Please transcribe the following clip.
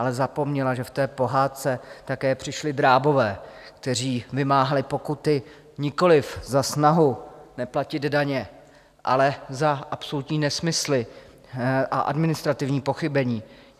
Ale zapomněla, že v té pohádce také přišli drábové, kteří vymáhali pokuty nikoliv za snahu neplatit daně, ale za absolutní nesmysly a administrativní pochybení.